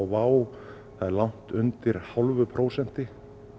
WOW það er langt undir hálfu prósenti